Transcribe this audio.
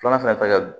Filanan fɛnɛ ta